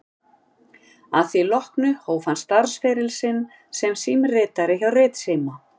Að því loknu hóf hann starfsferil sinn sem símritari hjá Ritsíma